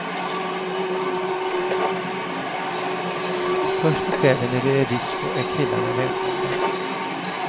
Först på kvällen när det är disco är killarna välkomna.